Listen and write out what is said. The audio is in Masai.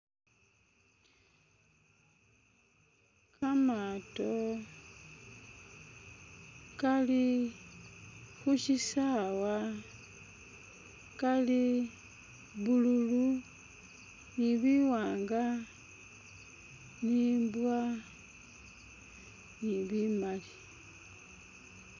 Kamato kali khu shisawa, kali blue lu ni bi wanga ni i mbwa ni bimali.